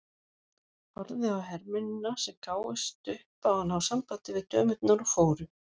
Horfði á hermennina sem gáfust upp á að ná sambandi við dömurnar og fóru.